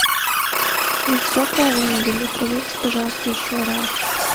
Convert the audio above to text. вы все правильно ввели проверьте пожалуйста еще раз